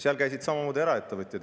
Seal käisid samamoodi eraettevõtjad.